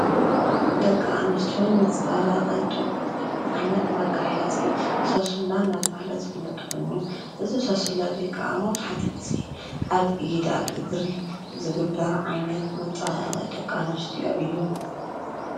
ደቂ አንስትዮ ንመፀባበቂ ዝጥቀማሉ ዓይነት መጋየፂ ሳስላ እናተብሃለ ዝፍለጥ ኮይኑ እዚ ሳስላ እዙይ ከዓ መብዛሕትኡ ግዜ አብ ኢድ፣ አብ እግሪ ዝግበር ዓይነት መፀባበቂ ደቂ አንስትዮ እዩ።